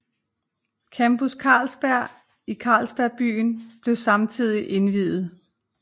Campus Carlsberg i Carlsberg Byen blev samtidig indviet